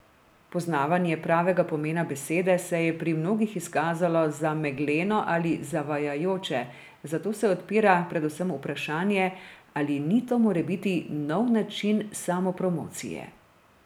Poznavanje pravega pomena besede se je pri mnogih izkazalo za megleno ali zavajajoče, zato se odpira predvsem vprašanje, ali ni to morebiti nov način samopromocije.